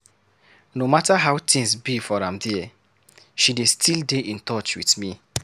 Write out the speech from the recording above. No mata how tins be for am there, she dey still dey in touch with me.